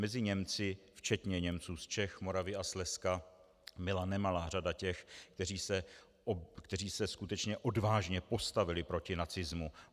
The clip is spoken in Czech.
Mezi Němci, včetně Němců z Čech, Moravy a Slezska, byla nemalá řada těch, kteří se skutečně odvážně postavili proti nacismu.